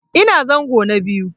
Ina zango na biyu.